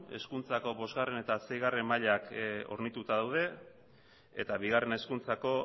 hezkuntzako bosgarren eta seigarren mailak hornituta daude eta bigarren hezkuntzako